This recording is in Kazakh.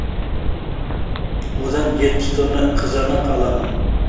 одан жетпіс тонна қызанақ аламын